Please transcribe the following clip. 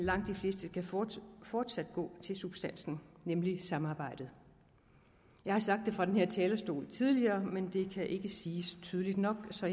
skal fortsat fortsat gå til substansen nemlig samarbejdet jeg har sagt det fra denne talerstol tidligere men det kan ikke siges tydeligt nok så